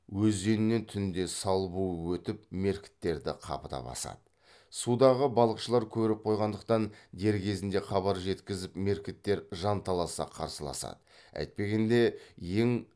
өзенінен түнде сал буып өтіп меркіттерді қапыда басады судағы балықшылар көріп қойғандықтан дер кезінде хабар жеткізіп меркіттер жанталаса қарсыласады әйтпегенде ең